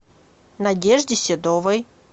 надежде седовой